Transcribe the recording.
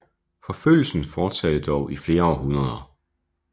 Forfølgelsen fortsatte dog i flere århundreder